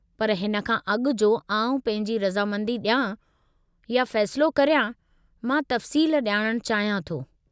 पर हिन खां अॻु जो आउं पंहिंजी रज़ामंदी ॾियां या फ़ैसिलो करियां, मां तफ़सीलु ॼाणणु चाहियां थो।